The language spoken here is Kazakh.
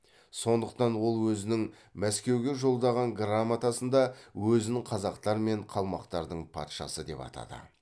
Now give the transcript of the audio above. сондықтан ол өзінің мәскеуге жолдаған грамотасында өзін қазақтар мен қалмақтардың патшасы деп атады